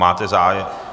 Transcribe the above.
Máte zájem?